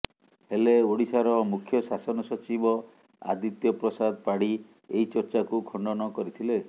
ହେଲେ ଓଡ଼ିଶାର ମୁଖ୍ୟ ଶାସନ ସଚିବ ଆଦିତ୍ୟ ପ୍ରସାଦ ପାଢ଼ୀ ଏହି ଚର୍ଚ୍ଚାକୁ ଖଣ୍ଡନ କରିଥିଲେ